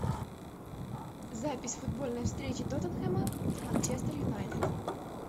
запись футбольной встречи тоттенхэма с манчестер юнайтед